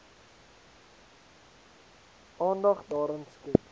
aandag daaraan skenk